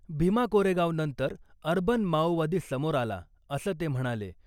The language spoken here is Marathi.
भीमा कोरेगाव नंतर अर्बन माओवादी समोर आला , असं ते म्हणाले .